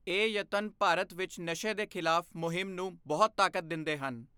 ਇਹ ਯਤਨ ਭਾਰਤ ਵਿੱਚ ਨਸ਼ੇ ਦੇ ਖ਼ਿਲਾਫ਼ ਮੁਹਿੰਮ ਨੂੰ ਬਹੁਤ ਤਾਕਤ ਦਿੰਦੇ ਹਨ।